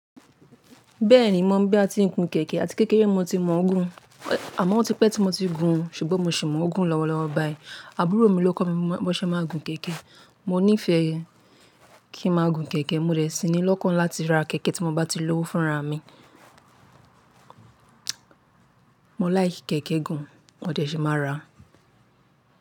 Bẹ́ẹ̀ni, mò ń bí à ti n gun kẹ̀kẹ́ àti kékeré nibmo ti mọ̀ ọ́ gún, àmọ́ ó ti pẹ́ tí mo ti gun, ṣùgbọ́n mo sì mọ̀ ọ́ gún lọ́wọ́ lọ́wọ́ báyìí. Àbúrò mi ló kọ́ mi bó ṣe máà ń gun kẹ̀kẹ́. Mo nífẹ̀ẹ́ kí ń máa gun kẹ̀kẹ́, mo dẹ̀ síni llọ́kàn láti ra kẹ̀kẹ́ tí mo bá ti lówó fúnraa mi. Mo láì kẹ̀kẹ́ gan, mo dẹ̀ ṣi máa ra.